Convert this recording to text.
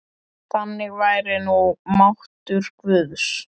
Þannig væri nú máttur guðs.